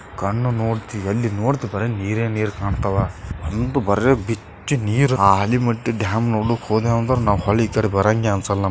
ಕಣ್ಣು ನೋಡ್ತಿ ಎಲ್ಲಿ ನೋಡ್ತಿ ಬರೇ ನೀರೆ ನೀರ್ ಕಾಣುತವ ಒಂದು ಬರೇ ಬಿಚ್ಚಿ ನೀರ್ ಹಲೀಮಟ್ಟಿ ಡ್ಯಾಮ್ ನೋಡ್ಲಿಕ್ಕ್ ಹೋದೆವು ಅಂದ್ರ ಈ ಕಡೆ ಬರಂಗೆ ಅನ್ಸಲ್ಲ ನಮಗೆ.--